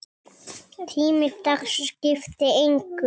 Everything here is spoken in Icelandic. Tími dags skipti engu.